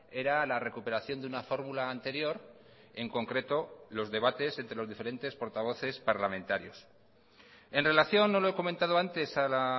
era la recuperación de una fórmula anterior en concreto los debates entre los diferentes portavoces parlamentarios en relación no lo he comentado antes a la